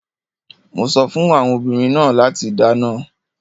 Mo sọ fún àwọn obìnrin náà láti dáná.